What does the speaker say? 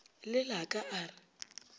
le la ka a re